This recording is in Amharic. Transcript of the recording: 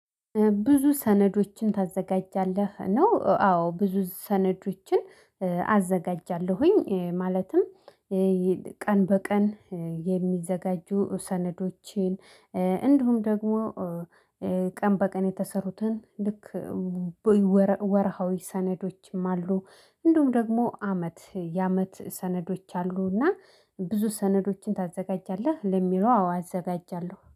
ብዙ ሰነዶችን ታዘጋጃለህ? ነው አዎ ብዙ ሰነዶችን አዘጋጃለሁኝ ማለትም ቀን በቀን የሚዘጋጁ ሰነዶችን እንዲሁም ደግሞ ቀን በቀን የተሰሩትን ልክ ወርሃዊ ሰነዶችም አሉ እንደሁም ደግሞ አመት የአመት ሰነዶች አሉ እና ብዙ ሰነዶችን ታዘጋጃለህ? ለሚለው አው አዘጋጃለሁ?